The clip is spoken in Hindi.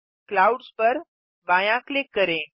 क्लाउड्स पर बायाँ क्लिक करें